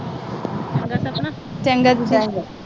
ਚੰਗਾ ਦੀਦੀ।